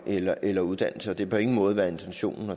eller eller uddannelse og det har på ingen måde været intentionen